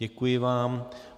Děkuji vám.